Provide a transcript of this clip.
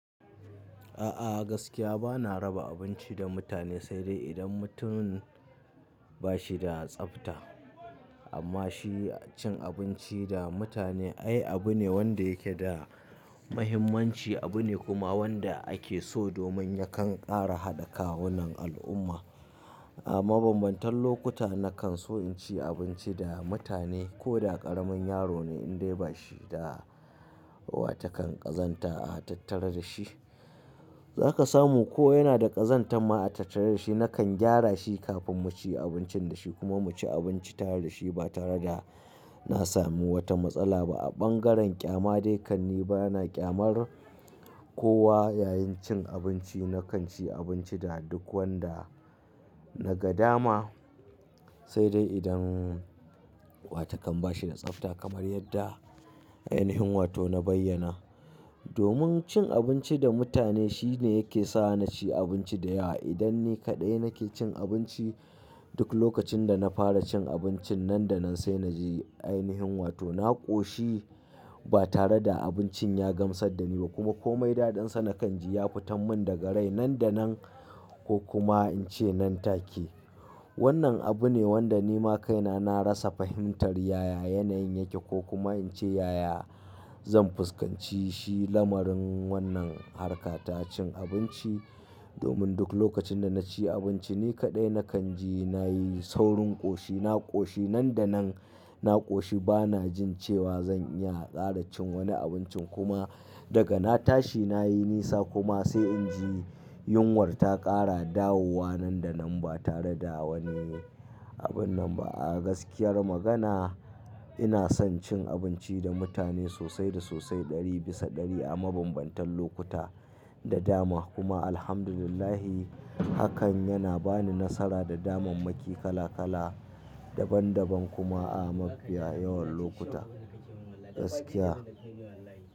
A'a gaskiya bana raba abinci da mutane, sai dai idan mutun ba shi da tsafta. Amma shi cin abinci da mutane ai abu ne wanda yake da muhimmanci, abu ne kuma wanda ake so domin yakan ƙara haɗa kawunan al'umma. A mabambantan lokuta na kan so in ci abinci da mutane ko da ƙaramin yaro ne in dai ba shi da wata kan ƙazanta a tattare da shi, za ka samu ko yana da ƙazanta ma a tattare da shi na kan gyara shi kafin mu ci abincin da shi kuma mu ci abinci tare da shi ba tare da na sami wata matsala ba. A ɓangaren ƙyama dai kan ni ba na ƙyamar kowa yayin cin abinci. Na kan ci abinci da duk wanda na ga dama, sai dai idan wata kan ba shi da tsafta kamar yadda ainihin wato na bayyana. Domin cin abinci da mutane shi ne yake sa na ci abinci da yawa. Idan ni kaɗai nake cin abinci, duk lokacin da na fara cin abincin nan da nan sai na ji ainihin wato na ƙoshi ba tare da abincin ya gamsar da ni ba kuma komai daɗinsa na kan ji ya fitan mun daga rai nan da nan, ko kuma in ce nan take. Wannan abu ne wanda ni ma kaina na rasa fahimtar yaya yanayin yake ko kuma in ce yaya zan fuskanci shi lamarin wannan harkata cin abinci. Domin duk lokacin da na ci abinci ni kaɗai, na kan ji na yi saurin ƙoshi. Na ƙoshi nan da nan, na ƙoshi ba na jin cewa zan iya ƙara cin wani abincin kuma daga na tashi na yi nisa kuma sai in ji yunwar ta ƙara dawowa nan da nan ba tare da wani abin nan ba. A gaskiyar magana ina son cin abinci da mutane sosai da sosai ɗari bisa ɗari a mabambantan lokuta da dama. Kuma Alhamdulillah hakan yana ba ni nasara da damammaki kala kala daban daban kuma a mafiya yawan lokuta. Gaskiya.